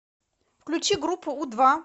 включи группу у два